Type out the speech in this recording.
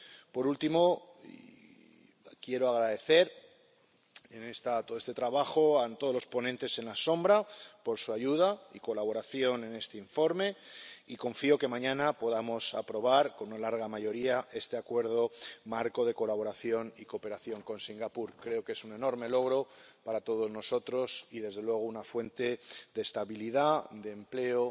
Por último, quiero agradecer en todo este trabajo a todos los ponentes alternativos por su ayuda y colaboración en este informe, y confío en que mañana podremos aprobar con una amplia mayoría este Acuerdo Marco de Colaboración y Cooperación con Singapur. Creo que es un enorme logro para todos nosotros y, desde luego, una fuente de estabilidad, de empleo